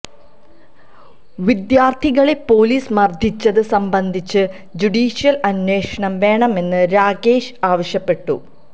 വിദ്യാര്ഥികളെ police മര്ദിച്ചത് സംബന്ധിച്ച് judicial അന്വേഷണം വേണമെന്ന് രാഗേഷ് ആവശ്യപ്പെട്ടു